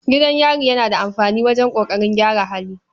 Gidan yari yana da amfani wajen ƙoƙarin gyara hali.